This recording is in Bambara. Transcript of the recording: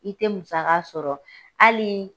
I te musaka sɔrɔ. Halii